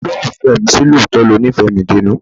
Olólùfẹ́ mi, ṣé lóòótọ́ lo nífẹ̀ẹ́ mi dénú?